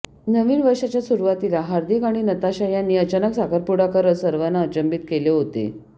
नवीन वर्षाच्या सुरुवातीला हार्दिक आणि नताशा यांनी अचानक साखरपुडा करत सर्वांना अचंबित केले होते